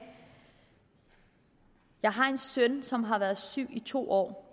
jeg har en søn som har været syg i to år